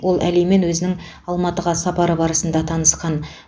ол әлимен өзінің алматыға сапары барысында танысқан